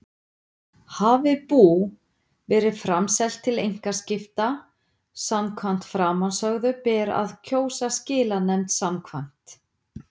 Hafi bú verið framselt til einkaskipta samkvæmt framansögðu ber að kjósa skilanefnd samkvæmt